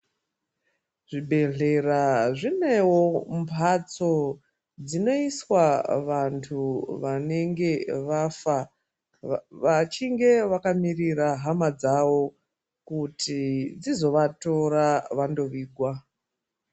Zvibhedhlera zvinewo mbatso dzinoiswa vantu vanenge vafa vachinge vakamirira hama dzavo kuti dzizovatora vandovigwa.